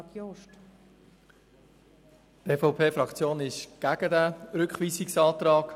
Die EVP-Fraktion ist gegen diesen Rückweisungsantrag.